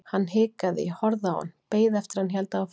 Hann hikaði, ég horfði á hann, beið eftir að hann héldi áfram.